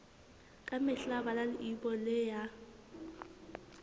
ka mehla bala leibole ya